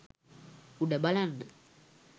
උඩ බලන්න